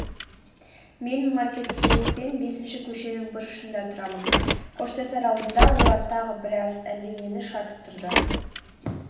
мен маркет-стрит пен бесінші көшенің бұрышында тұрамын.қоштасар алдында олар тағы біраз әлденені шатып тұрды